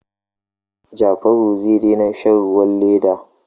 Jafaru zai daina shan ruwan leda.